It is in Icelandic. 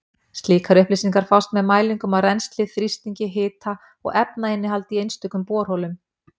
Slíkar upplýsingar fást með mælingum á rennsli, þrýstingi, hita og efnainnihaldi í einstökum borholum.